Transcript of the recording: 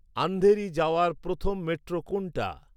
আন্ধেরি যাওয়ার প্রথম মেট্রো কোনটা